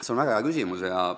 See on väga hea küsimus.